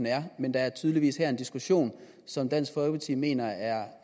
er men der er tydeligvis her en diskussion som dansk folkeparti mener er